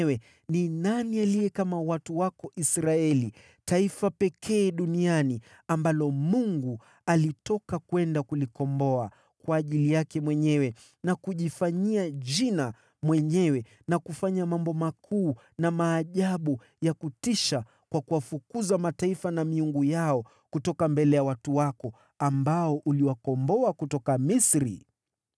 Naye ni nani aliye kama watu wako Israeli, taifa pekee duniani ambalo Mungu alitoka kwenda kulikomboa kwa ajili yake mwenyewe, na kujifanyia jina mwenyewe, kwa kufanya maajabu makubwa na ya kutisha kwa kuwafukuza mataifa na miungu yao mbele ya watu wako, ambao uliwakomboa kutoka Misri?